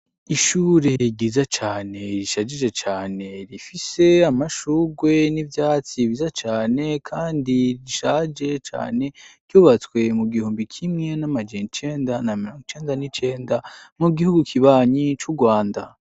Ishure ni ryiza cane rishajije cane , rifise amashurwe n'ivyatsi vyiza cane, kandi rishaje cane, ryubatswe mu gihumbi kimwe n'amajana icenda na mrongo icenda n' icenda, mu gihugu kibanyi c' u Rwanda.